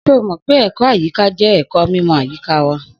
Só mó pẹ ẹkọ àyiká jẹ ẹkó mímò àyíkà wà?